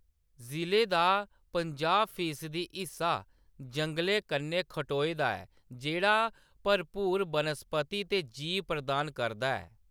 ज़िले दा पंजाह्‌‌ फीसदी हिस्सा जंगलें कन्नै खटोए दा ऐ, जेह्‌‌ड़ा भरपूर बनस्पति ते जीव प्रदान करदा ऐ।